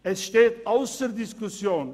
Es steht ausser Diskussion: